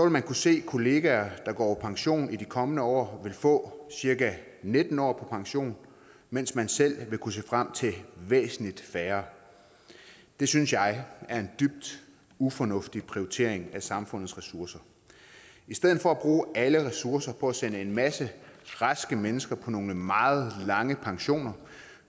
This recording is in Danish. man kunne se at kollegaer der går på pension i de kommende år vil få cirka nitten år på pension mens man selv vil kunne se frem til væsentlig færre det synes jeg er en dybt ufornuftig prioritering af samfundets ressourcer i stedet for at bruge alle ressourcer på at sende en masse raske mennesker på nogle meget lange pensioner